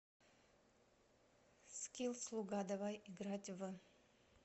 скилл слуга давай играть в